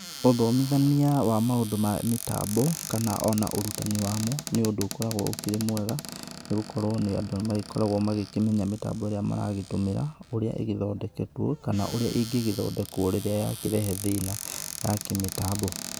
Ũthomithania wa maũndũ ma mĩtambo kana ona ũrutani wamo, nĩ ũndũ ũkoragwo ũkĩrĩ mwega nĩ gũkorwo andũ nĩ makoragwo magĩkĩmenya mĩtambo ĩrĩa maragĩtũmĩra ũrĩa ĩthondeketwo, kana ũrĩa ĩngĩgĩthondekwo rĩrĩa yakĩrehe thĩna ya kĩmĩtambo.